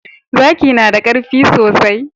zaki nada karfi sosai